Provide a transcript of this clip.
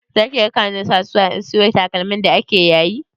Zaki raka ni kasuwa in sayo takalmi da ake yayi?